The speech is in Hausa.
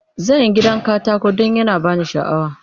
Zan yi gidan katako don yana ba ni sha'awa.